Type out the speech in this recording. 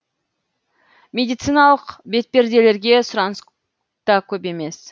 медициналық бетперделерге сұраныс та көп емес